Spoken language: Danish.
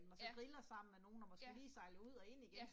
Ja. Ja. Ja